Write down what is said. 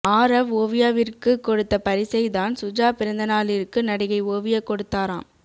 ஆரவ் ஓவியாவிற்கு கொடுத்த பரிசை தான் சுஜா பிறந்தநாளிற்கு நடிகை ஓவியா கொடுத்தாராம்